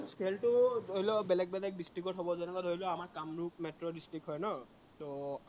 খেলটো ধৰি ল, বেলেগ বেলেগ district ত হব, যেনেকেুৱা ধৰি আমাৰ কামৰূপ metro district হয় ন?